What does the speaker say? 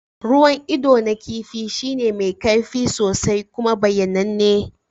Ruwan ido na kifi shine mai kaifi sosai kuma bayyananne.